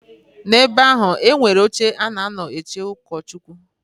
Na ebe ahụ e nwere oche a na a nọ eche ụkọchụkwụ.